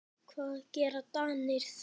Hvað gera Danir þá?